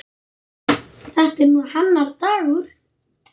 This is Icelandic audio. Þetta er nú hennar dagur.